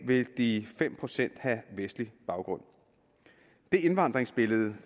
vil de fem procent have vestlig baggrund det indvandringsbillede